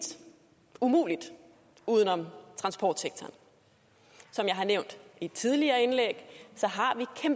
umuligt uden om transportsektoren som jeg har nævnt i et tidligere indlæg